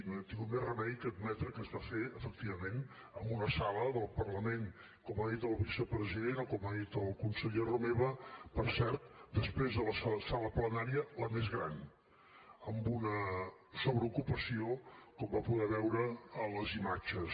no ha tingut més remei que admetre que es va fer efectivament en una sala del parlament com ha dit el vicepresident o com ha dit el conseller romeva per cert després de la sala plenària la més gran amb una sobreocupació com va poder veure a les imatges